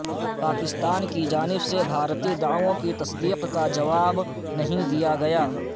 پاکستان کی جانب سے بھارتی دعووں کی تصدیق کا جواب نہیں دیا گیا